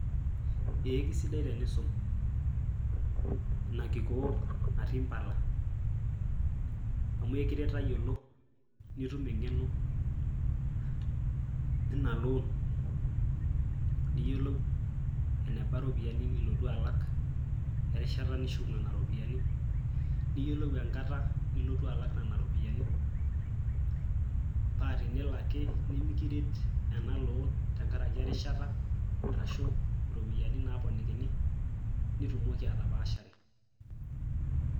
Ee kisidai tenisum ina kikoo natii impala. Amu ekiret tayiolo nitum engeno ina loan ,niyiolou eneba iropiyiani nilotu alak erishata nishuk nena ropiyiani . Niyiolou enkata nilotu alak nena ropiyiani paa tenelo ake nimiret ena loan tenkaraki erishata ashu iropiyiani naaponikini nitumoki atapaashare.